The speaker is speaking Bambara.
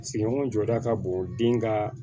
Sigiɲɔgɔn jɔda ka bon den ka